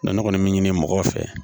Ne kɔni mi ɲini mɔgɔw fɛ